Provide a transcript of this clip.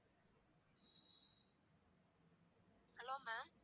hello ma'am